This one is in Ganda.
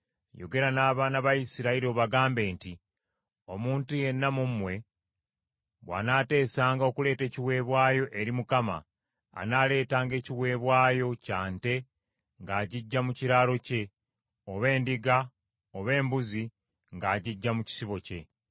“Yogera n’abaana ba Isirayiri obagambe nti, ‘Omuntu yenna mu mmwe bw’aneeteesanga okuleeta ekiweebwayo eri Mukama , anaaleetanga ekiweebwayo kya nte ng’agiggya mu kiraalo kye, oba endiga oba embuzi ng’agiggya mu kisibo kye.’